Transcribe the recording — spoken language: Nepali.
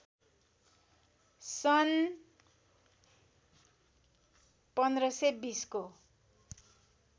सन् १५२० को